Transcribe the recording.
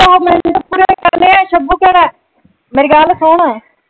ਮੇਰੀ ਗੱਲ ਸੁਣ।